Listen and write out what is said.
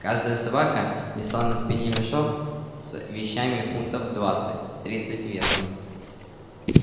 каждая собака несла на спине мешок с вещами фунтов в двадцать тридцать весом